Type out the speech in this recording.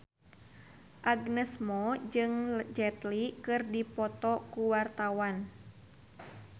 Agnes Mo jeung Jet Li keur dipoto ku wartawan